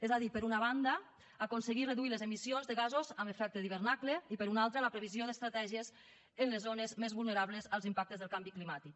és a dir per una banda aconseguir reduir les emissions de gasos amb efecte d’hivernacle i per una altra la previsió d’estratègies en les zones més vulnerables als impactes del canvi climàtic